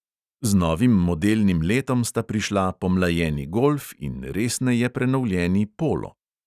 Z novim modelnim letom sta prišla pomlajeni golf in resneje prenovljeni polo.